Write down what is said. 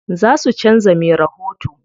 Za su canza me rahoto.